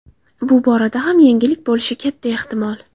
Bu borada ham yangilik bo‘lishi katta ehtimol.